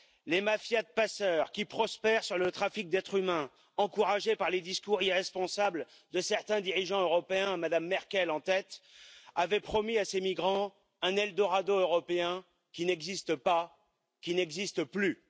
Les mafias de passeurs qui prospèrent sur le trafic d'êtres humains, encouragés par les discours irresponsables de certains dirigeants européens, Mme Merkel en tête, avaient promis à ces migrants un Eldorado européen qui n'existe pas, qui n'existe plus!